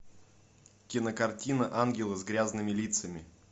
кинокартина ангелы с грязными лицами